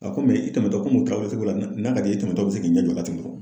Ɔ komi i tɛmɛ tɔ komi cogo la n'a ka di ye i tɛmɛ tɔ bɛ se k'i ɲɛ jɔ ten dɔrɔnw